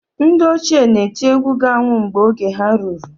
Ndị ochie na-eti egwu ga-anwụ mgbe oge ha ruru.